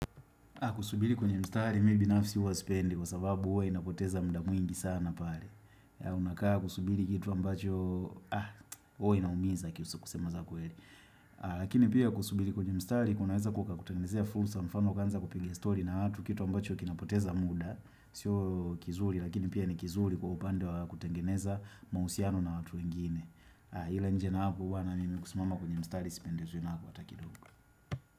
Kusubiri kwenye mstari, mi binafsi huwa sipendi kwa sababu huwa inapoteza muda mwingi sana pale. Unakaa kusubili kitu ambacho hua inaumiza kiuso kusema za kweeli. Lakini pia kusubiri kwenye mstari, kunaweza kuka kutengenezea fursa mfano ukaanza kupigia story na watu kitu ambacho kinapoteza muda. Sio kizuri, lakini pia ni kizuri kwa upande wa kutengeneza mahusiano na watu wengine. Ila nje na hapo bwana mimi kusumama kwenye mstari sipendezwi nako hata kidogo.